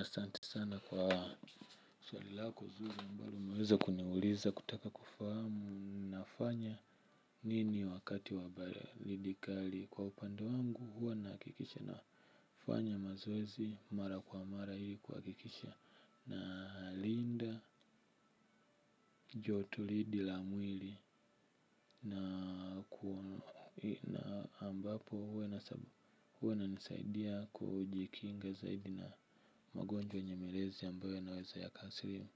Asante sana kwa swali lako zuri ambalo umeweza kuniuliza kutaka kufahamu nafanya nini wakati wa baridi kali, kwa upande wangu huwa nahakikisha nafanya mazoezi mara kwa mara ili kuhakikisha na linda joto lidi la mwili na ambapo huwa inanisaidia kujikinga zaidi na magonjwa yenye malezi ambayo yanaweza yakaathiri